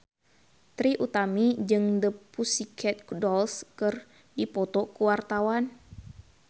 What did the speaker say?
Trie Utami jeung The Pussycat Dolls keur dipoto ku wartawan